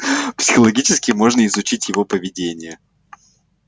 психологически можно изучить его поведение